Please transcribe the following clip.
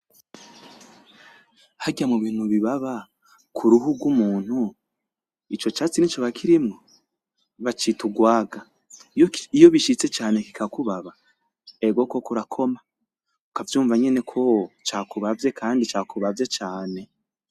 Harya mu bintu bi baba ku ruhu rw'umuntu ico catsi nticoba kirimwo? Bacita urwaga, iyo bishitse cane ki kakubaba ego koko urakoma ukavyunva nyeneko cakubavye.